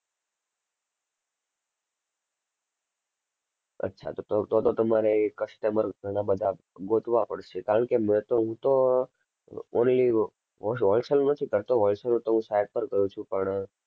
અચ્છા ત~તો તો તમારે customer ઘણા બધા ગોતવા પડશે કારણ કે મેં તો હું તો only whos~wholsale નું નથી કરતો wholesale નું તો હું side પર કરું છું પણ